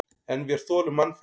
En vér þolum mannfelli.